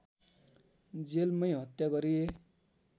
जेलमै हत्या गरिए